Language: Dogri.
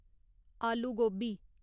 आलू गोबी